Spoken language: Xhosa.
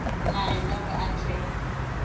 naye noko athe